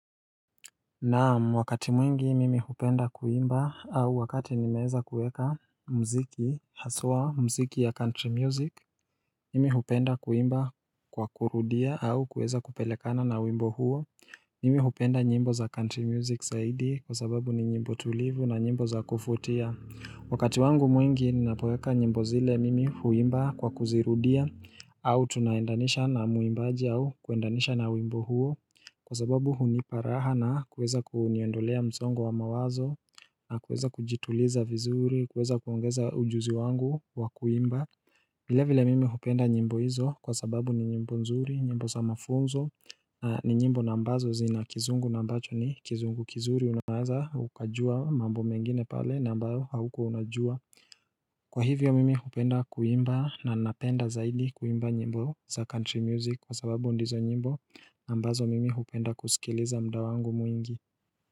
Naam, wakati mwingi mimi hupenda kuimba au wakati nimeweza kuweka muziki haswa muziki ya country music. Mimi hupenda kuimba kwa kurudia au kuweza kupelekana na wimbo huo. Mimi hupenda nyimbo za country music zaidi kwa sababu ni nyimbo tulivu na nyimbo za kuvutia. Wakati wangu mwingi ninapoweka nyimbo zile mimi huimba kwa kuzirudia au tunaendanisha na mwimbaji au kuendanisha na wimbo huo. Kwa sababu hunipa raha na kuweza kuniondolea msongo wa mawazo na kuweza kujituliza vizuri, kuweza kuongeza ujuzi wangu wa kuimba vilevile mimi hupenda nyimbo hizo kwa sababu ni nyimbo nzuri, nyimbo za mafunzo ni nyimbo na ambazo zina kizungu na ambacho ni kizungu kizuri unaeza ukajua mambo mengine pale na ambao haukuwa unajua Kwa hivyo mimi hupenda kuimba na napenda zaidi kuimba nyimbo za country music kwa sababu ndizo nyimbo ambazo mimi hupenda kusikiliza muda wangu mwingi.